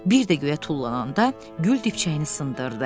Bir də göyə tullananda gül dibçəyini sındırdı.